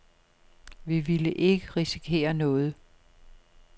Vi ville ikke risikere noget.